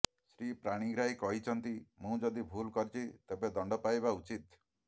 ଶ୍ରୀ ପାଣିଗ୍ରାହୀ କହିଛନ୍ତି ମୁଁ ଯଦି ଭୁଲ କରିଛି ତେବେ ଦଣ୍ଡ ପାଇବା ଉଚିତ୍